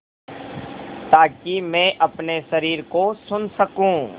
ताकि मैं अपने शरीर को सुन सकूँ